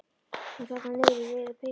Hún þarna niðri í rauðu peysunni.